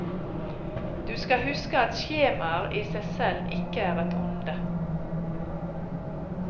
Du skal huske at skjemaer i seg selv ikke er et onde.